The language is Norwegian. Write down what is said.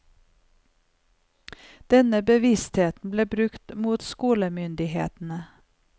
Denne bevisstheten ble brukt mot skolemyndighetene.